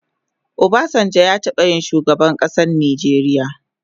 Obasanjo ya taba yin shugaban kasan Nijeria